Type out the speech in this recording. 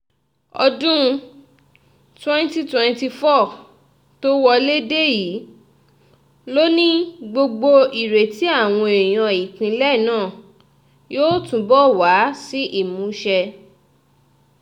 ọdún twenty twenty four tó wọlé dé yìí ló ní gbogbo ìrètí àwọn èèyàn ìpínlẹ̀ náà yóò túbọ̀ wá sí ìmúṣẹ